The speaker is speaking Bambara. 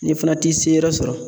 N'i fana t'i seyɔrɔ sɔrɔ